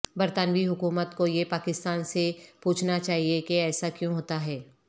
برطانوی حکومت کو یہ پاکستان سے پوچھنا چائیے کے ایسا کیوں ہوتا ھے